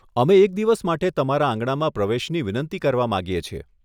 અમે એક દિવસ માટે તમારા આંગણામાં પ્રવેશની વિનંતી કરવા માંગીએ છીએ.